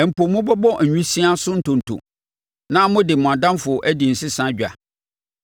Mpo mobɛbɔ awisiaa so ntonto, na mode mo adamfo adi nsesa dwa.